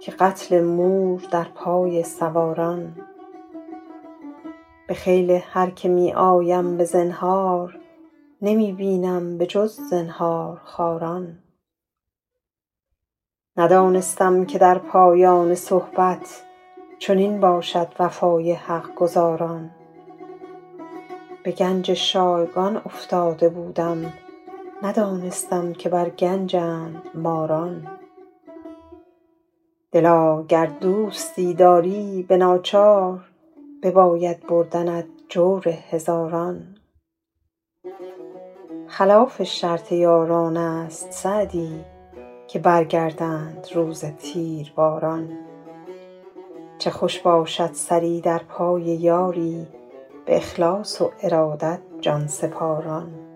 که قتل مور در پای سواران به خیل هر که می آیم به زنهار نمی بینم به جز زنهارخواران ندانستم که در پایان صحبت چنین باشد وفای حق گزاران به گنج شایگان افتاده بودم ندانستم که بر گنجند ماران دلا گر دوستی داری به ناچار بباید بردنت جور هزاران خلاف شرط یاران است سعدی که برگردند روز تیرباران چه خوش باشد سری در پای یاری به اخلاص و ارادت جان سپاران